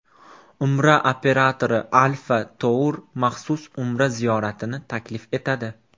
Umra operatori Alfa Tour maxsus Umra ziyoratini taklif etadi.